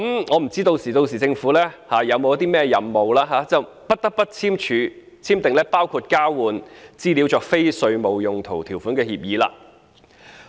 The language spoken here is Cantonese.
我不知道政府屆時會否有甚麼任務，以致不得不簽訂包括交換資料作非稅務用途條款的協定了。